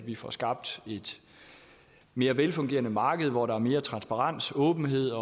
vi får skabt et mere velfungerende marked hvor der er mere transparens åbenhed